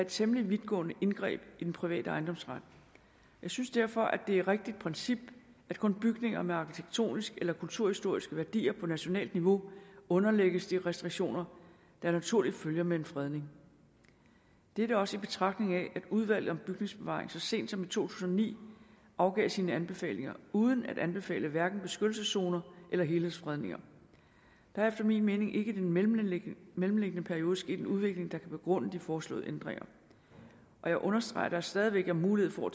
temmelig vidtgående indgreb i den private ejendomsret og jeg synes derfor at det er et rigtigt princip at kun bygninger med arkitektonisk eller kulturhistorisk værdier på nationalt niveau underlægges de restriktioner der naturligt følger med en fredning dette også i betragtning af at udvalget om bygningsbevaring så sent som i to tusind og ni afgav sine anbefalinger uden at anbefale hverken beskyttelseszoner eller helhedsfredninger der er efter min mening ikke i den mellemliggende mellemliggende periode sket en udvikling der kan begrunde de foreslåede ændringer og jeg understreger at der stadig væk er mulighed for